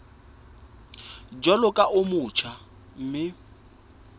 jwalo ka o motjha mme